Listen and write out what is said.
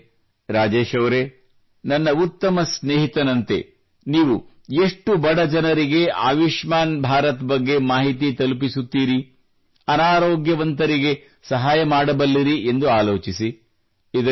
ಹಾಗಾದರೆ ರಾಜೇಶ್ ಅವರೇ ನನ್ನ ಉತ್ತಮ ಸ್ನೇಹಿತನಂತೆ ನೀವು ಎಷ್ಟು ಬಡ ಜನರಿಗೆ ಆಯುಷ್ಮಾನ್ ಭಾರತ್ ಬಗ್ಗೆ ಮಾಹಿತಿ ತಲುಪಿಸುತ್ತೀರಿ ಅನಾರೋಗ್ಯವಂತರಿಗೆ ಸಹಾಯ ಮಾಡಬಲ್ಲಿರಿ ಎಂದು ಆಲೋಚಿಸಿ